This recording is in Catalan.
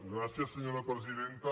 gràcies senyora presidenta